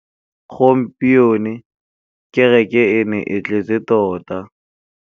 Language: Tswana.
Gompieno kêrêkê e ne e tletse tota.